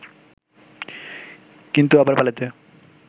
কিন্তু আবার পালাইতে